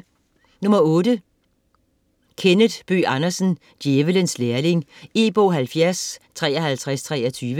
Bøgh Andersen, Kenneth: Djævelens lærling E-bog 705323